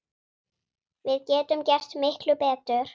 Við getum gert miklu betur!